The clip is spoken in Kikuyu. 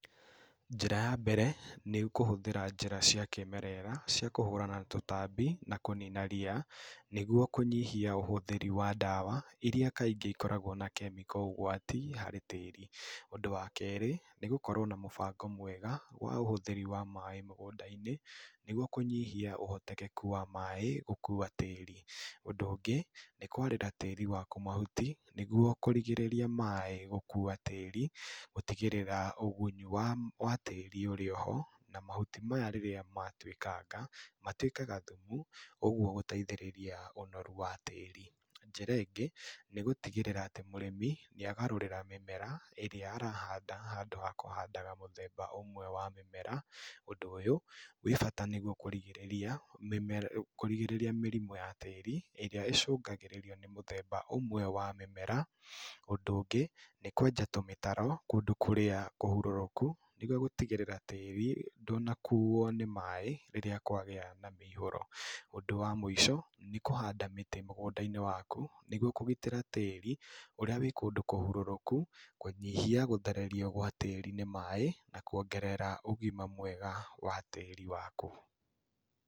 Njĩra ya mbere nĩ kũhũthĩra njĩra cia kĩĩmerera cia kũhũrana na tũtambi na kũrũwa na ria niguo kũnyihia ũhũthĩri wa ndawa iria kaingĩ ikoragwo na chemical ũgwati harĩ tĩĩri. Ũndũ wa kerĩ nĩ gũkorwo na mũbango mwega wa ũhũthĩri wa maĩĩ mũgũnda-inĩ nĩguo kũnyihia ũhotekeku wa maĩĩ gũkuwa tĩĩri. Ũndũ ũngĩ nĩ kwarĩra tĩĩri waku mahuti nĩguo kũrigĩrĩria maĩĩ gũkuwa tĩĩri gũtigĩrĩra ũgunyu wa ma wa tĩĩri ũrĩoho na mahuti maya rĩrĩa matwĩkanga matwĩkaga thumu ũguo gũteithĩrĩria ũnoru wa tĩĩri. Njĩra ĩngĩ nĩ gũtigĩrĩra atĩ mũrĩmi nĩagarũrĩra mĩmera ĩrĩa arahanda handũ ha kũhandaga mũthemba ũmwe wa mĩmera. Ũndũ ũyũ wĩ bata nĩguo kũrigĩrĩria mĩmer kũrigĩrĩria mĩrimũ ya tĩĩri ĩrĩa ĩcũngagĩrĩrio nĩ mũthemba ũmwe wa mĩmera. Ũndũ ũngĩ nĩ kwenja tũmĩtaro kũndũ kũrĩa kũhurũrũku nĩguo gũtigĩrĩra tĩĩri ndũnakuwo nĩ maĩĩ rĩrĩa kwagĩa na mĩiyũro. Ũndũ wa mũico nĩ kũhanda mĩtĩ mũgũnda-inĩ waku nĩguo kũgitĩra tĩĩri ũrĩa wĩ kũndũ kũhurũrũku, kũnyihia gũthererio gwa tĩĩri nĩ maĩĩ na kuongerera ũgima mwega wa tĩĩri waku.